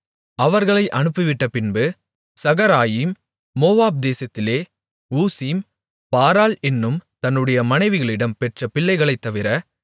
அவர்களை அனுப்பிவிட்டபின்பு Shaharaim Moab தேசத்திலே ஊசிம் பாராள் என்னும் தன்னுடைய மனைவிகளிடம் பெற்ற பிள்ளைகளைத்தவிர